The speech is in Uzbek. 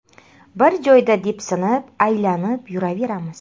Bir joyda depsinib, aylanib yuraveramiz.